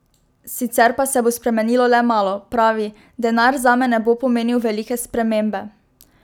Sicer pa se bo spremenilo le malo, pravi: "Denar zame ne bo pomenil velike spremembe.